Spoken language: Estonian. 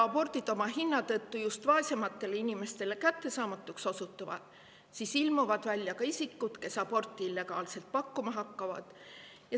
Kui abordid oma hinna tõttu just vaesematele inimestele kättesaamatuks osutuvad, siis ilmuvad välja isikud, kes hakkavad pakkuma illegaalseid aborte.